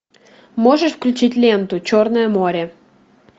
можешь включить ленту черное море